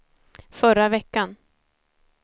förra veckan